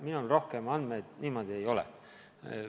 Minul rohkem andmeid ei ole.